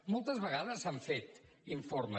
moltes vegades s’han fet informes